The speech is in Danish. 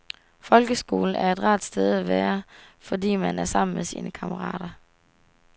Folkeskolen er et rart sted at være fordi man er sammen med sine kammerater.